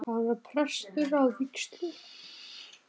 Hann var prestur að vígslu.